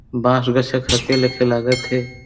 बांस बेसे खखे लेखे लागत हे।